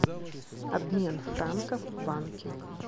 обмен франков в банке